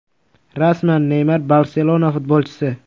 Rasman: Neymar “Barselona” futbolchisi.